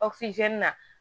na